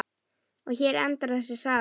Og hér endar þessi saga.